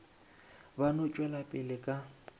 ba no tšwela pele ka